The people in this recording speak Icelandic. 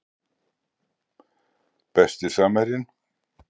Besti samherjinn?